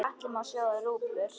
Í katli má sjóða rjúpur?